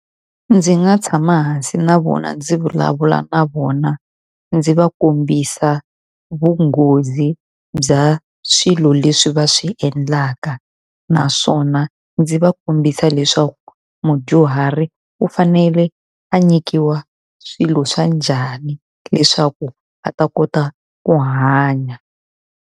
Ndzi nga tshama hansi na vona, ndzi vulavula na vona, ndzi va kombisa vunghozi bya swilo leswi va swi endlaka. Naswona ndzi va kombisa leswaku mudyuhari u fanele a nyikiwa swilo swa njhani leswaku va ta kota ku hanya.